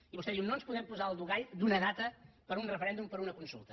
i vostè diu no ens podem posar el dogal d’una data per a un referèndum per a una consulta